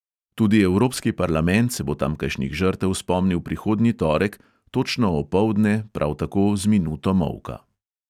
Tudi evropski parlament se bo tamkajšnjih žrtev spomnil prihodnji torek točno opoldne prav tako z minuto molka.